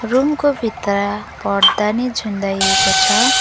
Room को भित्र पर्दानी झुण्डाएको छ।